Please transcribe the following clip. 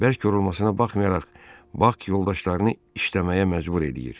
Bərk yorulmasına baxmayaraq Bak yoldaşlarını işləməyə məcbur edir.